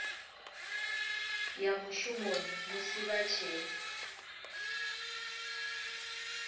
ya mushumoni musi vha tshee